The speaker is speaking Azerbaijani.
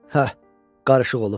Hə, qarışıq olub.